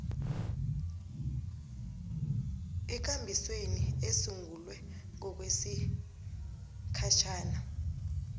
ekambisweni esungulwe ngokwesigatjana